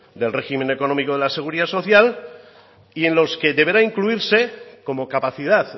del régimen económico de la seguridad social y en los que deberá incluirse como capacidad